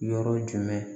Yɔrɔ jumɛn